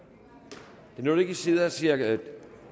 det noget at i sidder og ser viasat